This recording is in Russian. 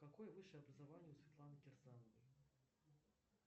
какое высшее образование у светланы кирсановой